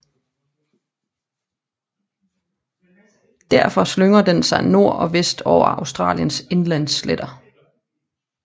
Derfra slynger den sig nord og vest over Australiens indlandssletter